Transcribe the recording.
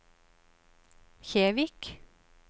Kjevik